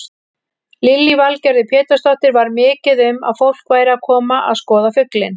Lillý Valgerður Pétursdóttir: Var mikið um að fólk væri að koma að skoða fuglinn?